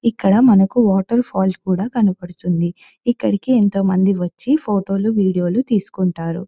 ఇక్కడ మనకి waterfall కూడా కనబడుతుంది ఇక్కడకి ఎంతో మంది వచ్చి ఫోటో లు వీడియో లు తీసుకుంటారు.